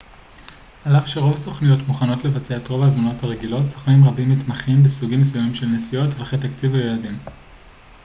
על אף שרוב הסוכנויות מוכנות לבצע את רוב ההזמנות הרגילות סוכנים רבים מתמחים בסוגים מסוימים של נסיעות טווחי תקציב או יעדים